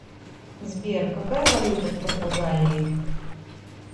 сбер какая валюта в португалии